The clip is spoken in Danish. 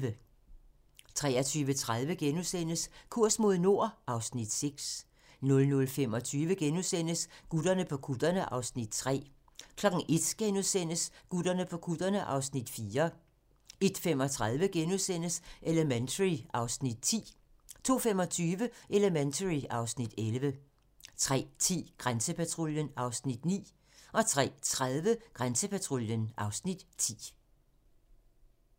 23:30: Kurs mod nord (Afs. 6)* 00:25: Gutterne på kutterne (Afs. 3)* 01:00: Gutterne på kutterne (Afs. 4)* 01:35: Elementary (Afs. 10)* 02:25: Elementary (Afs. 11) 03:10: Grænsepatruljen (Afs. 9) 03:30: Grænsepatruljen (Afs. 10)